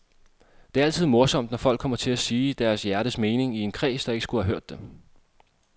Det er altid morsomt, når folk kommer til at sige deres hjertens mening i en kreds, der ikke skulle have hørt det.